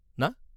না?